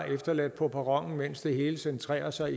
efterladt på perronen mens det hele centrerer sig